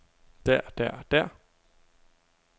der der der